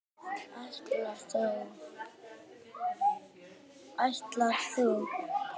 Ætlar þú.?